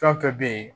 Fɛn fɛn bɛ yen